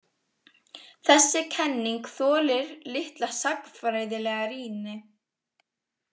Þessi kenning þolir litla sagnfræðilega rýni.